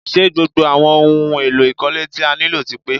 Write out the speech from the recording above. Ṣé gbogbo àwọn ohun èlò ìkọ́lé tí a nílò ti pe?